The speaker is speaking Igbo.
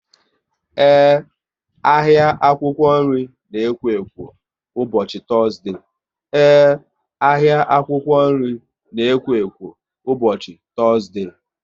Ee, ahịa akwụkwọ nri na ekwo ekwo ụbọchị Tọzdee